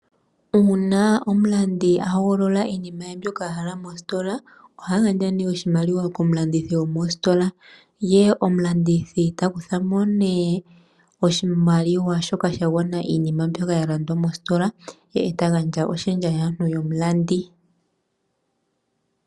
Uuna omulandi a hogolola iinima ye mbyoka a hala mositola oha gandja nduno oshimaliwa komulandithi gomositola, ye omulandithi ta kutha mo nduno oshimaliwa shoka sha gwana iinima mbyoka ya kuthwa mositola e ta gandja oshendja yaantu yomulandi.